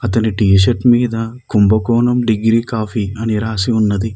అతని T shirt మీద Kumbakonam degree coffee అని రాసి ఉన్నది.